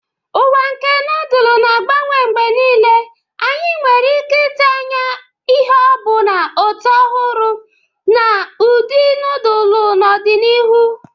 Ụwa nke nodulu na-agbanwe mgbe niile, anyị nwere ike ịtụ anya ịhụ ọbụna ụtọ ọhụrụ na ụdị nodulu n'ọdịnihu.